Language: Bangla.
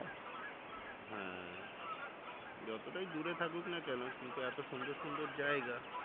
হ্যাঁ যতটাই দূরে থাকুক না কেন কিন্তু এতো সুন্দর সুন্দর জায়গা